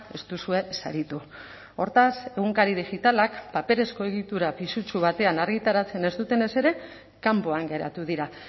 ez duzue saritu hortaz egunkari digitalak paperezko egitura pisutsu batean argitaratzen ez dutenez ere kanpoan geratu dira